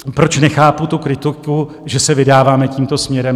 Proč nechápu tu kritiku, že se vydáváme tímto směrem?